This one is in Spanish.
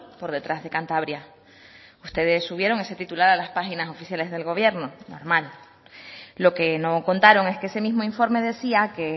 por detrás de cantabria ustedes subieron ese titular a las páginas oficiales del gobierno normal lo que no contaron es que ese mismo informe decía que